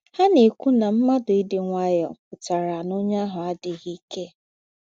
Ha ná-èkwù ná m̀ádụ́ ídị́ ǹwáyọ̀ pụ́tàrà ná ónyè àhụ̀ àdíghí íkè.